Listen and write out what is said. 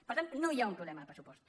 per tant no hi ha un problema de pressupost